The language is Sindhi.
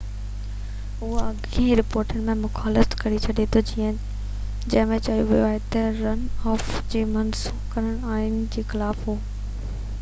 اهو اڳين رپورٽن جي مخالفت ڪري ٿو جنهن ۾ چيو ويو هو تہ رن آف کي منسوخ ڪرڻ آئين جي خلاف هو